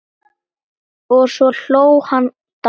Og svo hló hann dátt!